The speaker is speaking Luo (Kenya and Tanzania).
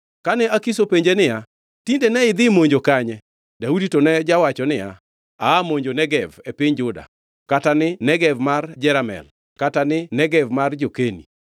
Kane Akish openje niya, “Tinde ne idhi monjo kanye?” Daudi to ne jawacho niya, “Aa monjo Negev e piny Juda, kata ni Negev mar Jeramel kata ni Negev mar jo-Keni.”